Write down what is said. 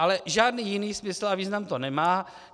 Ale žádný jiný smysl a význam to nemá.